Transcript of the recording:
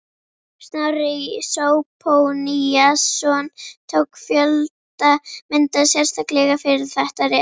Snorri Zóphóníasson tók fjölda mynda sérstaklega fyrir þetta rit.